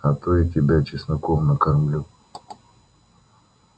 а то и тебя чесноком накормлю